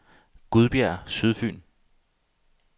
Gudbjerg Sydfyn